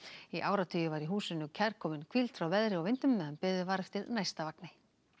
í áratugi var húsið kærkomin hvíld frá veðri og vindum meðan beðið var eftir næsta vagni